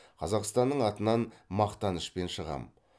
қазақстаның атынан мақтанышпен шығам